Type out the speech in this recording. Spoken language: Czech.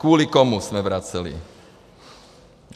Kvůli komu jsme vraceli.